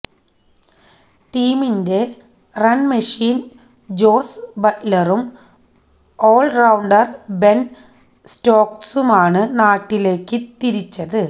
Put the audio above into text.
ടീമിലെ run machine Jos ബട്ട്ലറും all rounder Ben സ്റ്റോക്സുമാണ് നാട്ടിലേക്ക് തിരിച്ചത്